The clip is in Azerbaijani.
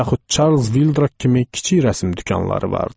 Yaxud Çarlz Vildrak kimi kiçik rəsm dükanları vardı.